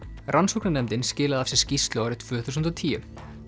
rannsóknarnefndin skilaði af sér skýrslu árið tvö þúsund og tíu